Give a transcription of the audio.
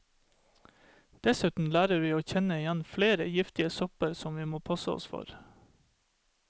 Dessuten lærer vi å kjenne igjen flere giftige sopper som vi må passe oss for.